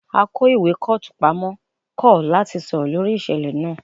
Akó ìwé kọ́ọ̀tù pamọ́ kọ̀ láti sọ̀rọ̀ lórí ìṣẹ̀lẹ̀ náà